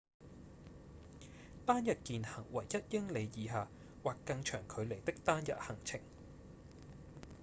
單日健行為一英里以下或更長距離的單日行程